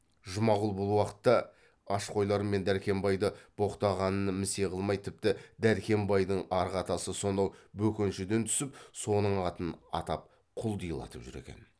жұмағұл бұл уақытта аш қойлар мен дәркембайды боқтағанын місе қылмай тіпті дәркембайдың арғы атасы сонау бөкеншіден түсіп соның атын атап құлдилатып жүр екен